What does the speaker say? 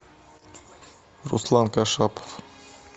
руслан кашапов